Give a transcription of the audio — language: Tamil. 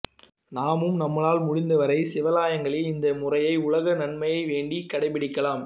நாமும் நம்மால் முடிந்தவரை சிவாலயங்களில் இந்த முறையை உலக நன்மை வேண்டி கடைப்பிடிக்கலாம்